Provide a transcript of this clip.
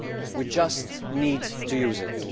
we just need to use it.